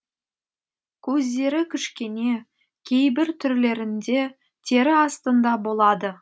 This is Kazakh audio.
көздері кішкене кейбір түрлерінде тері астында болады